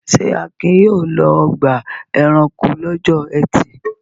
Ṣé Akin yóò lọ ọgbà-ẹranko lọ́jọ́ ẹtì?